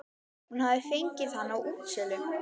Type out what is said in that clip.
Hún hafði fengið hann á útsölu.